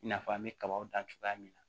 I n'a fɔ an bɛ kabaw dan cogoya min na